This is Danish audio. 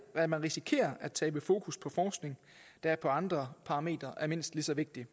at man risikerer at tabe fokus på forskning der på andre parametre er mindst lige så vigtig